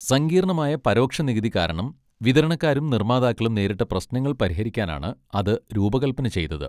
സങ്കീർണ്ണമായ പരോക്ഷ നികുതി കാരണം വിതരണക്കാരും നിർമ്മാതാക്കളും നേരിട്ട പ്രശ്നങ്ങൾ പരിഹരിക്കാനാണ് അത് രൂപകൽപന ചെയ്തത്.